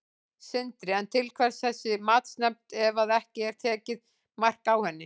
Sindri: En til hvers þessi matsnefnd ef að ekki er tekið mark á henni?